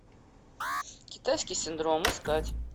китайский синдром искать